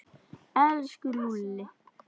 Elsku Lúlli.